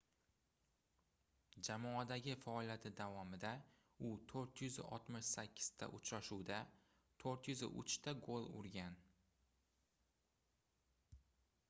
jamoadagi faoliyati davomida u 468 ta uchrashuvda 403 ta gol urgan